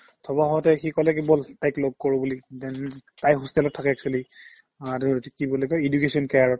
থ'ব আহোতে সি ক'লে কি ব'ল তাইক লগ কৰো বুলি then তাই hostel ত থাকে actually আৰু এইটো কি বুলি কই education care ত